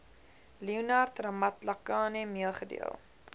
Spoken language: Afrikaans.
leonard ramatlakane meegedeel